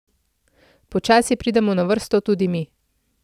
Počasi pridemo na vrsto tudi mi.